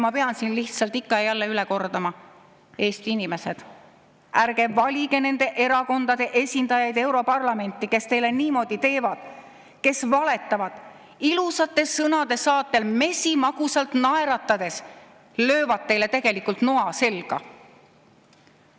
Ma pean siin lihtsalt ikka ja jälle üle kordama: Eesti inimesed, ärge valige nende erakondade esindajaid europarlamenti, kes teile niimoodi teevad, kes valetavad, ilusate sõnade saatel mesimagusalt naeratades löövad teile tegelikult noa selga!